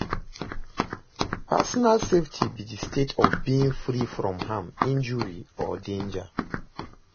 personal safety be di state of being free from harm, injury or danger.